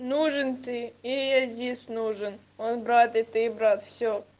нужен ты и я здесь нужен он брат и ты брат все